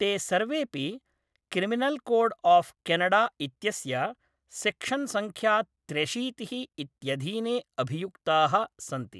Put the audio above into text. ते सर्वेपि criminal code of Canada इत्यस्य सेक्शन्सङ्ख्या त्र्यशीतिः इत्यधीने अभियुक्ताः सन्ति।